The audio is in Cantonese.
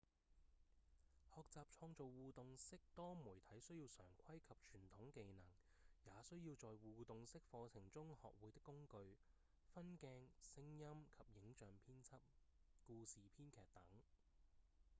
學習創造互動式多媒體需要常規及傳統技能也需要在互動式課程中學會的工具分鏡、聲音及影像編輯、故事編劇等